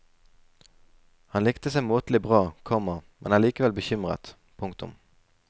Han likte seg måtelig bra, komma men er likevel bekymret. punktum